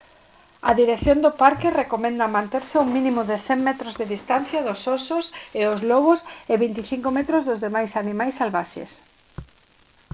a dirección do parque recomenda manterse a un mínimo de 100 metros de distancia dos osos e os lobos e 25 metros dos demais animais salvaxes